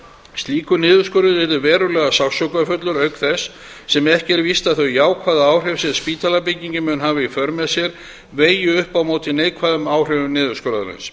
slíkur niðurskurður yrði verulega sársaukafullur auk þess sem ekki er víst að þau jákvæðu áhrif sem spítalabyggingin mun hafa í för með sér vegi upp á móti neikvæðum áhrifum niðurskurðarins